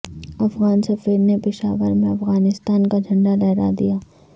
افغان سفیر نے پشاور میں افغانستان کا جھنڈا لہرا دیا